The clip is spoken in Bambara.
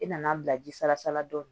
I nana an bila ji salasala dɔɔni